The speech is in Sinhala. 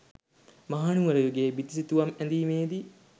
මහනුවර යුගයේ බිතුසිතුවම් ඇඳීමේදී